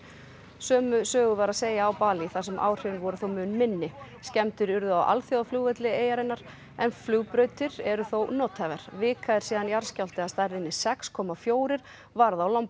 sömu sögu var að segja á Balí þar sem áhrifin voru þó mun minni skemmdir urðu á alþjóðaflugvelli eyjarinnar en flugbrautir eru þó nothæfar vika er síðan jarðskjálfti að stærðinni sex komma fjögur varð á